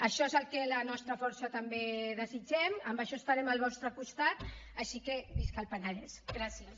això és el que la nostra força també desitgem en això estarem al vostre costat així que visca el penedès gràcies